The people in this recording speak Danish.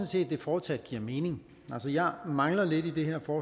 set at det fortsat giver mening altså jeg mangler lidt i det her